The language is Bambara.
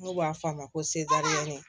N'u b'a f'a ma ko seariyɛn